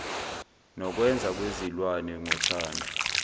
nokwenza kwezilwane ngothando